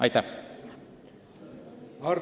Aitäh!